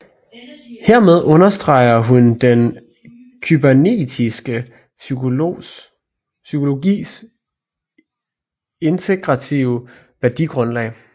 Hermed understreger hun den kybernetiske psykologis integrative værdigrundlag